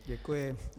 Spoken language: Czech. Děkuji.